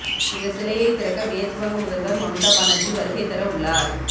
இந்த சிலையை திறக்க மேற்கு வங்க முதல்வர் மம்தா பானர்ஜி வருகை தர உள்ளார்